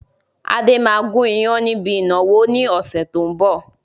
Adé máa gun ìyàn níbi ìnáwó ni ọ̀sẹ̀ tó ń bọ̀.